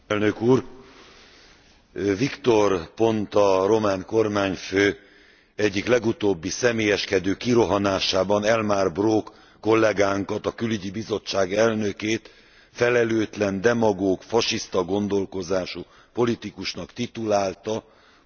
Victor Ponta román kormányfő egyik legutóbbi személyeskedő kirohanásában Elmar Brok kollégánkat a Külügyi Bizottság elnökét felelőtlen, demagóg, fasiszta gondolkozású politikusnak titulálta politikai javaslata miatt.